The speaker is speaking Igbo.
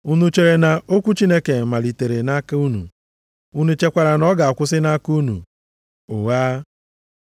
Unu chere na okwu Chineke malitere nʼaka unu? Unu chekwara na ọ ga-akwụsị nʼaka unu? Ụgha!